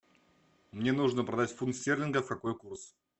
мне нужно продать фунт стерлингов какой курс